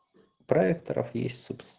проекторов есть собс